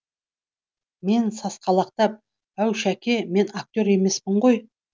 мен сасқалақтап әу шәке мен актер емеспін ғой